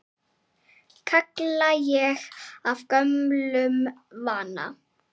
kalla ég af gömlum vana.